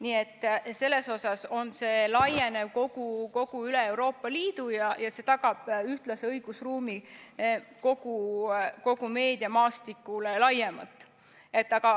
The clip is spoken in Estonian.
Nii et selles suhtes see laieneb üle kogu Euroopa Liidu ja see tagab ühtlase õigusruumi kogu meediamaastikul laiemalt.